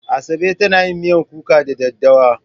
Asabe za ta yi miyan kuka da daddawa.